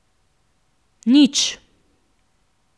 Nič.